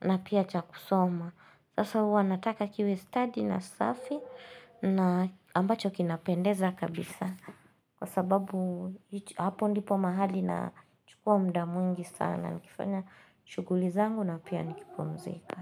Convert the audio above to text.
na pia cha kusoma Sasa hua nataka kiwe study na safi na ambacho kinapendeza kabisa Kwa sababu hapo ndipo mahali na chukua mda mungi sana Nikifanya shughuli na pia nikipumzika.